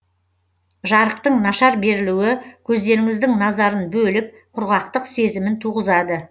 жарықтың нашар берілуі көздеріңіздің назарын бөліп құрғақтық сезімін туғызады